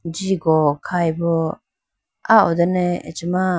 jigo khayi bo ah ho done acha ma.